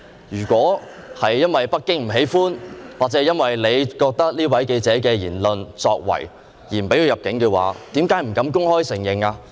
如果是由於北京不喜歡，或你基於這位記者的言論或作為而不准他入境的話，為甚麼不敢公開承認呢？